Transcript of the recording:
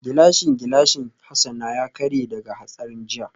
Gilashin gilashin Hassan ya karye daga hatsarin jiya